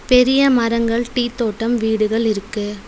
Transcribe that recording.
பெரிய மரங்கள் டீ தோட்டம் வீடுகள் இருக்கு.